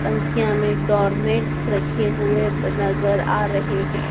तनखियां में डोरमैटस रखे हुए नजर आ रहे हैं।